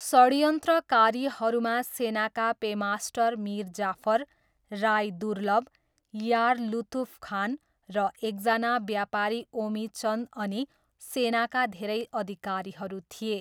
षड्यन्त्रकारीहरूमा सेनाका पेमास्टर मिर जाफर, राई दुर्लभ, यार लुतुफ खान र एकजना व्यापारी ओमिचन्द अनि सेनाका धेरै अधिकारीहरू थिए।